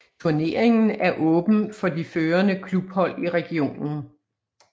Turneringen er åben for de førende klubhold i regionen